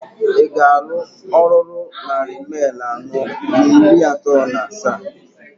Mail I galụ oruru nnari mail anọọ n'iri ato n'asaa?